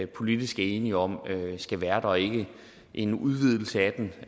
politisk er enige om skal være der og ikke en udvidelse af den